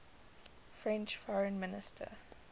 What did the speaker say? french foreign minister